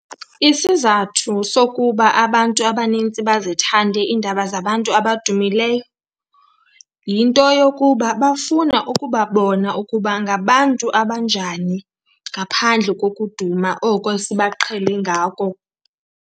Isizathu sokuba abantu abanintsi bazithande iindaba zabantu abadumileyo yinto yokuba bafuna ukubabona ukuba ngabantu abanjani ngaphandle kokuduma oku esibaqhele ngako.